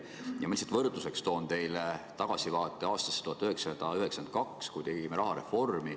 Ma toon lihtsalt võrdluseks teile tagasivaate aastasse 1992, kui tegime rahareformi.